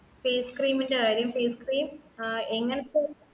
face cream ന്റെ കാര്യം face cream ആ എങ്ങൻത്ത്